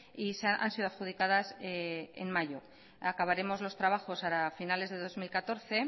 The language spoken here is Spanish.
y han sido adjudicadas en mayo acabaremos los trabajos para finales de dos mil catorce